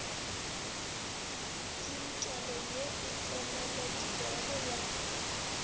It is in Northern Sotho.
tsinkelo ye e tseneletpego ya